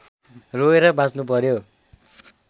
रोएर बाँच्नु पर्‍यो